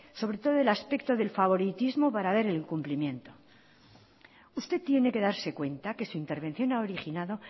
sobre todo del aspecto del favoritismo para ver el cumplimiento usted tiene que darse cuenta que su intervención ha originado